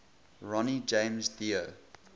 ronnie james dio